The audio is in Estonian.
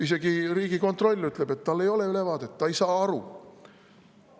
Isegi Riigikontroll ütleb, et tal ei ole ülevaadet, ta ei saa aru.